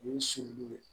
U ye sini ye